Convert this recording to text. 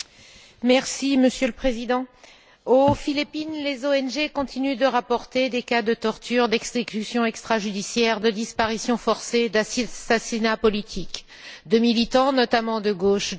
Monsieur le Président, aux Philippines, les ONG continuent de rapporter des cas de tortures, d'exécutions extrajudiciaires, de disparitions forcées, d'assassinats politiques de militants, notamment de gauche, et de journalistes.